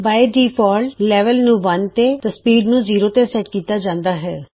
ਮੂਲ ਰੂਪ ਤੋਂ ਹੀ ਲੈਵਲ 1 ਅਤੇ ਸਪੀਡ ਜ਼ੀਰੋ ਸੈਟ ਕੀਤੀ ਗਈ ਹੈ